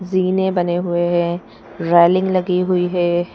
जीने बने हुए हैं रेलिंग लगी हुई है।